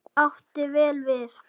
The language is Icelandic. Átti vel við.